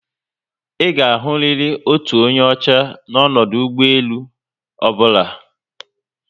ịga ahụriri otu onye ọchá n'odu ụgbọelu ọbụla